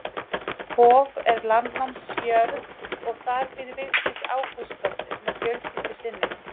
Hof er landnámsjörð og þar býr Vigdís Ágústsdóttir með fjölskyldu sinni.